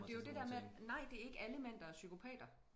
Og det jo det dér med nej det er ikke alle mænd der er psykopater